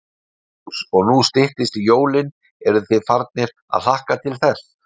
Magnús: Og nú styttist í jólin, eruð þið farnir að hlakka til þess?